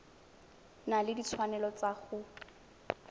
na le ditshwanelo tsa go